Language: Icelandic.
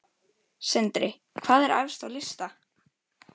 Sindri: Hvað er efst á lista?